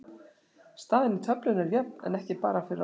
Staðan í töflunni er jöfn en ekki bara fyrir okkur.